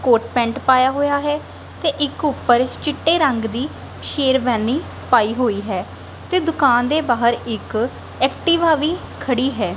ਕੋਟ pant ਪਾਇਆ ਹੋਇਆ ਹੈ ਤੇ ਇੱਕ ਉੱਪਰ ਚਿੱਟੇ ਰੰਗ ਦੀ ਸ਼ੇਰਵਾਨੀ ਪਾਈ ਹੋਈ ਹੈ ਤੇ ਦੁਕਾਨ ਦੇ ਬਾਹਰ ਇੱਕ ਐਕਟੀਵਾ ਵੀ ਖੜੀ ਹੈ।